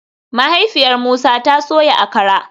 Mahaifiyar Musa ta soya Akara